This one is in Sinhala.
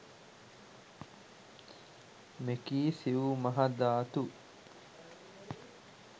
මෙකී සිව් මහ ධාතු